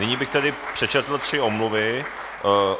Nyní bych tedy přečetl tři omluvy.